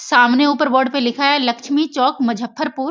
सामने ऊपर बोर्ड पे लिखा हुआ है लक्ष्मी चौक मुजफ्फरपुर --